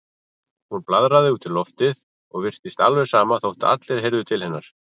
Hún blaðraði út í loftið og virtist alveg sama þótt allir heyrðu til hennar.